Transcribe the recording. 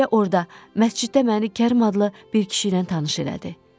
Elə orda, məsciddə məni Kərim adlı bir kişi ilə tanış elədi.